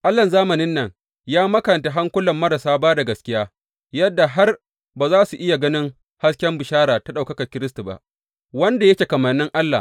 Allahn zamanin nan ya makanta hankulan marasa ba da gaskiya, yadda har ba za su iya ganin hasken bishara ta ɗaukakar Kiristi ba, wanda yake kamannin Allah.